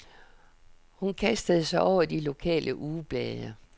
Hun kastede sig over de lokale ugeblade.